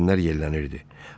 Yelkənlər yellənirdi.